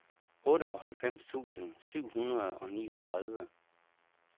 otteoghalvfems tusind syv hundrede og niogtredive